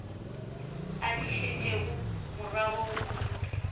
a di šetšego morago kudu